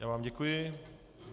Já vám děkuji.